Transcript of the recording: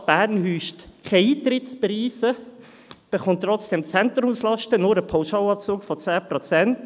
Die Stadt Bern verlangt keine Eintrittspreise und erhält trotzdem Zentrumslasten mit nur einem Pauschalabzug von 10 Prozent.